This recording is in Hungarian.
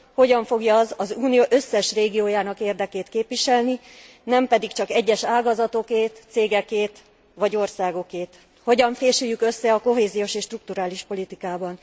Hogyan fogja az az Unió összes régiójának érdekét képviselni, nem pedig csak egyes ágazatokét, cégekét vagy országokét? Hogyan fésüljük össze a kohéziós és strukturális politikában?